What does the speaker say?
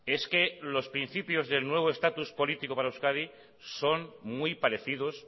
es que los principios del nuevo estatus político para euskadi son muy parecidos